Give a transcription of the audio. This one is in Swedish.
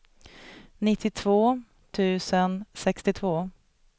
nittiotvå tusen sextiotvå